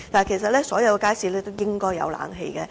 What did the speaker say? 其實，所有街市均應裝設冷氣。